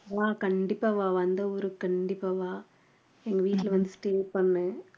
வா கண்டிப்பா வா வந்தா ஊருக்கு கண்டிப்பா வா எங்க வீட்டுல வந்து stay பண்ணு